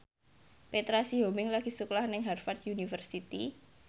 Petra Sihombing lagi sekolah nang Harvard university